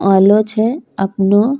आलो छे अपनो --